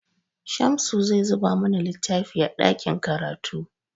Shamsu zai duba mana littafi a ɗakin karatu.